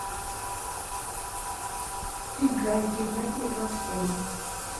играй геннадия гладкова